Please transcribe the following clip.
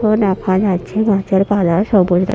ও দেখা যাচ্ছে গাছের পালা সবুজ র--